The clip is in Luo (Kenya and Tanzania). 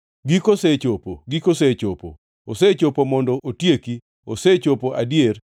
Giko osechopo! Giko osechopo! Osechopo mondo otieki. Osechopo adier!